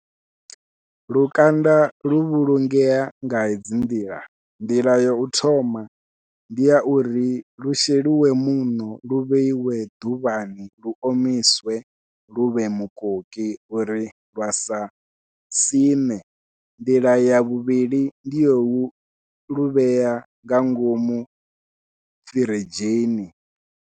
Lukanda lu vhulungea nga hedzi nḓila, nḓila yau thoma ndi ya uri lu sheliwe muṋo lu vheiwe ḓuvhani lu omiswe luvhe mukoki uri lwa sa siṋe, nḓila ya vhuvhili ndi lwau luvhea nga ngomu firidzhini.